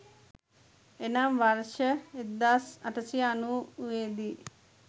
එනම් වර්ෂ 1890 දී